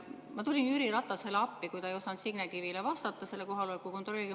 Ma tulin Jüri Ratasele appi, kui ta ei osanud Signe Kivile kohaloleku kontrolli kohta vastata.